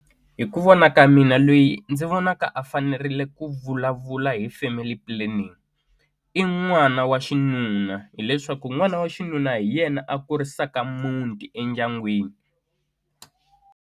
Hi ku vona ka mina loyi ndzi vonaka a fanerile ku vulavula hi family planning i n'wana wa xinuna hileswaku n'wana wa xinuna hi yena a kurisaka muti endyangwini.